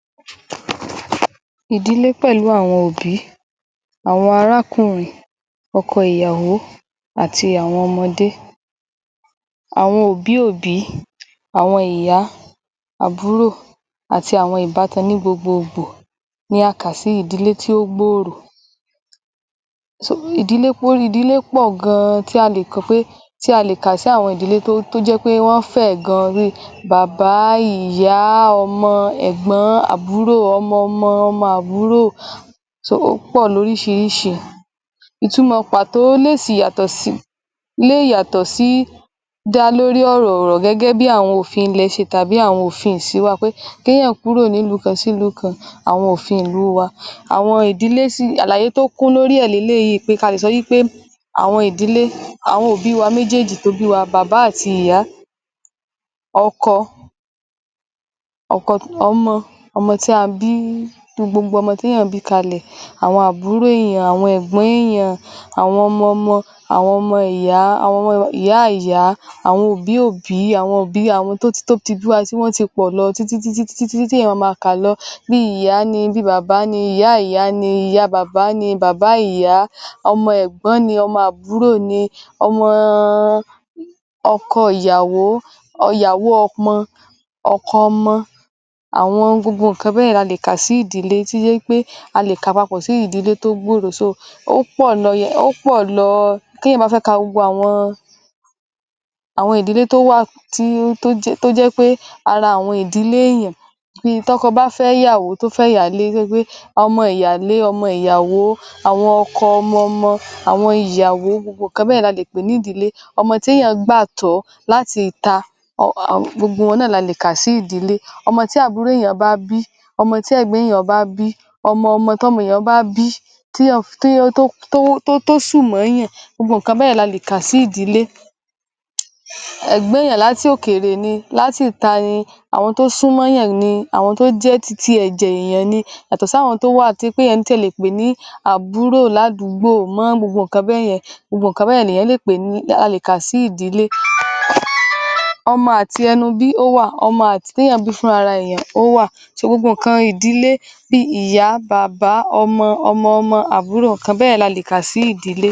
Ìdílé pẹ̀lú àwọn òbí, àwọn arákùnrin, ọkọ ìyàwó àti àwọn ọmọdé, àwọn òbí òbí àwọn ìyá, àbúrò àti àwọn ìbátan ní gbogbo gbò, ni a ká sí ìdílé tí ó gbòòrò ṣe, ìdílé, ìdílé pọ̀ gan tí a lè sọ pé, tí a lè kà sí àwọn ìdílé tó jẹ́ pé wọn fẹ̀ gan bí i bàbá, ìyá, ọmọ, ẹ̀gbọ́n, àbúrò, ọmọ-ọmọ, ọmọ àbúrò so ó pọ̀ lórísirísi ìtumò pàtó lè sì yàtọ̀ sí dá lórí ọ̀rọ̀ gẹ́gẹ́ bí àwọn òfin ilẹ̀ ṣe tàbí ṣe ofin ìsín wa pé ké yàn kúrò ní ìlú kan sí lú kan, àwọn òfin ìlú ẹ wa àwọn ìdílé sì, àlàyé tó kún lórí ẹ̀ ni pé àwọn ìdílé àwọn òbí wa méjèèjì tó bí wa, bàbá àti ìyá, ọkọ ọkọ tí, ọmọ tí a bí, gbogbo ọmọ té yàn bí kalẹ̀, àwọn àbúrò èyàn, àwọn ẹ̀gbọ́n èyàn awọn ọmọ-ọmọ àwọn ọmọ ìyá, àwọn ọmọ ìyá-ìyá àwọn òbí òbí àwọn tó ti wọn ti pọ̀ lọ títítítí tí èyàn ma ma kà lọ bí ìyá ni bi bàbá ni, ìyá-ìyá ni ìyá bàbá ni bàbá ìyá ni, ọmọ ẹ̀gbọ́n ni ọmọ àbúrò ni ọmọ ọ oko ìyàwó, ìyàwó ọmọ oko ọmọ, àwọn gbogbo ǹkan bẹ́ yẹn ni a lè kà sí ìdílé tó jẹ́ pé a lè kà papọ̀ sí ìdílé tó gbòòrò so ó pọ̀ lọ, ó pọ̀ lọ té yàn bá fẹ́ ka gbogbo àwọn ìdílé tó wà tó jẹ́ pé ara àwọn ìdílé èyàn bíi tọ́kọ bá fẹ́ èyàn tó fẹ́ ìyàwó tó fẹ́ ìyálé, tó ṣe pé ọmọ ìyálé ọmọ ìyàwó oko ọmọ-ọmọ àwọn ìyàwó gbogbo ǹkan bẹ́ẹ̀ ni a lè pè ní ìdílè ọmọ té yàn gbà tọ́ láti ìta ọ ọ gbogbo wọn náà ni a lè kà sí ìdílé ọmọ tí àbúrò èyàn, ọmọ tí ẹ̀gbọ́n èyàn bá bí ọmọ-ọmọ tọ́mọ èyàn bá bí tí tó tó tó sù mọ́ yàn gbogbo ǹkan bẹ́ẹ̀ ni a lè kà sí ìdílé. Ègbọ́n èyàn láti òkèrè ni, àwọn tó súnmọ́ yàn ni, àwọn tó jẹ́ titi ẹ̀jẹ̀ èyàn ni yàtọ̀ sí àwọn tó wà té yàn ti ẹ̀ lè pè ní àbúrò làdúgbò mọ́ gbogbo ǹkan bẹ́ yẹn ni èyàn lè pè, ni a lè kà sí ìdílé, ọmọ àti ẹnu bí ó wà, ọmọ àti té yàn bí fún ra èyàn ó wà so gbogbo ǹkan ìdílé bí i ìyá, bàbá, ọmọ, ọmọ-ọmọ, àbúrò ǹkan bẹ́ yẹn ni a lè kà sí ìdílé.